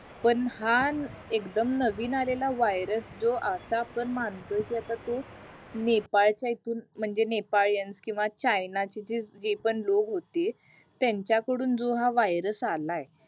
पण हा एक्दम नवीन आलेला वायर्स जो आता पण मानतोय कि आता तो नेपाळ च्या इथून म्हणजे नेपाळयांन किंवा चायना जे पण लोग होते त्याच्या कडून जो हा वायर्स आलाय